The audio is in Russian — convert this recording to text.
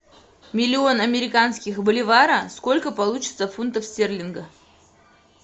миллион американских боливара сколько получится фунтов стерлинга